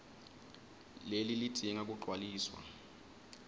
leli lidzinga kugcwaliswa